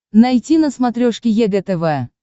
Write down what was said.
найти на смотрешке егэ тв